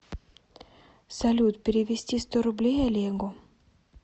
салют перевести сто рублей олегу